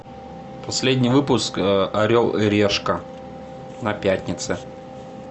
последний выпуск орел и решка на пятнице